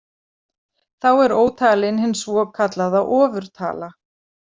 Þá er ótalin hin svokallaða ofurtala.